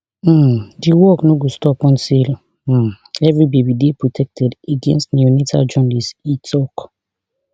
um di work no go stop until um evri baby dey protected against neonatal jaundice e tok